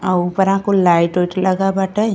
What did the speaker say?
आ ऊपरा कुल लाइट ओइट लगा बाटे।